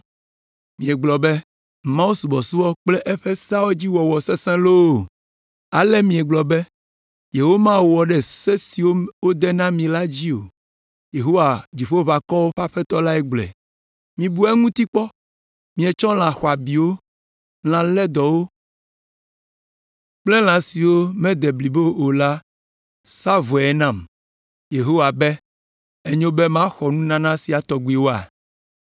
Miegblɔ be, ‘Mawusubɔsubɔ kple eƒe seawo dzi wɔwɔ sesẽ loo!’ Ale miegblɔ be, ‘yewomawɔ ɖe se siwo wòde na mi la dzi o,’ Yehowa, Dziƒoʋakɔwo ƒe Aƒetɔ lae gblɔe. “Mibu eŋuti kpɔ! Mietsɔ lã xɔabiwo, lã lédɔwo kple lã siwo mede blibo o la sa vɔe nam!” Yehowa be, “Enyo be maxɔ nunana sia tɔgbiwoa?